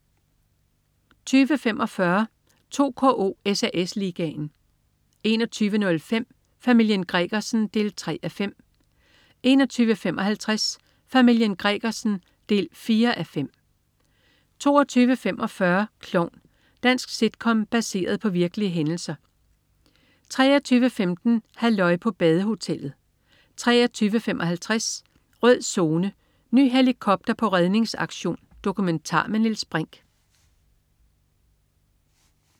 20.45 2KO: SAS Ligaen 21.05 Familien Gregersen 3:5 21.55 Familien Gregersen 4:5 22.45 Klovn. Dansk sitcom baseret på virkelige hændelser 23.15 Halløj på badehotellet 23.55 Rød Zone: Ny helikopter på redningsaktion. Dokumentar med Niels Brinch